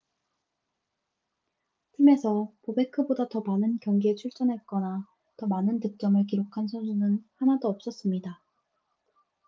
팀에서 보베크보다 더 많은 경기에 출전했거나 더 많은 득점을 기록한 선수는 하나도 없었습니다